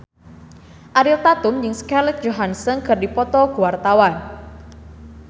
Ariel Tatum jeung Scarlett Johansson keur dipoto ku wartawan